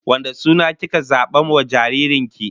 Wane suna kika zaba wa jaririn ki?